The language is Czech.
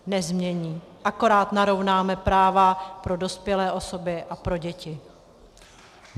Nezmění, akorát narovnáme práva pro dospělé osoby a pro děti.